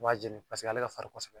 U b'a jeni paseke ale ka farin kɔsɛbɛ.